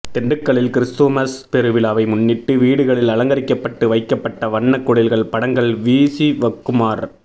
திண்டுக்கல்லில் கிருஸ்துமஸ் பெருவிழாவை முன்னிட்டு வீடுகளில் அலங்கரிக்கப்டட்டு வைக்கப்பட்ட வண்ண குடில்கள் படங்கள் வீசிவக்குமார்